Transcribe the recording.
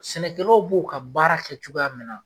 Sɛnɛkɛlaw b'o ka baara kɛ cogoya min na.